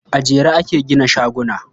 A jere ake gina shaguna.